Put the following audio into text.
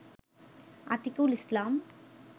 Atikul Islam